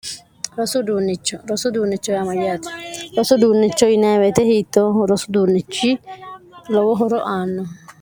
rosu duunnicho rosu duunnicho yaamayyaati rosu duunnicho yiniweete hiitto rosu duunnichi lowo horo aanno